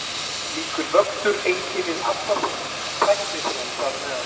Slíkur vöxtur einkennir alla þróun, tækniþróun þar á meðal.